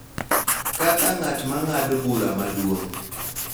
Kaka ng�at ma ng�ado bura maduong�,